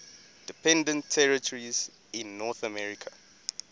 dependent territories in north america